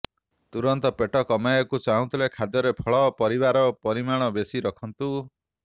ତୁରନ୍ତ ପେଟ କମାଇବାକୁ ଚାହୁଁଥିଲେ ଖାଦ୍ୟରେ ଫଳ ପରିବାର ପରିମାଣ ବେଶି ରଖନ୍ତୁ